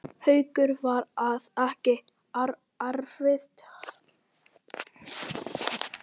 Haukur: Var það ekkert erfitt?